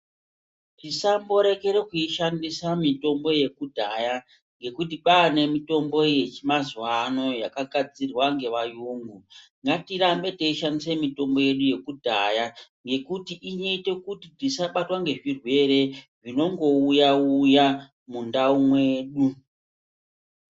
Tisamborekere kuishandisa mitombo yekudhaya ngekuti kwaane mitombo yechimazuva ano yakagadzirwa ngevayungu ngatirambe teishandisa mitombo yedu yekudhaya ngokuti inoita kuti tisabatwa ngezvirwere zvinongouya uya mundau mwedu.